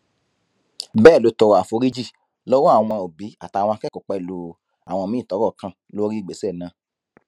bẹẹ ló tọrọ àforíjì lọwọ àwọn òbí àtàwọn akẹkọọ pẹlú àwọn míín tọrọ kàn lórí ìgbésẹ náà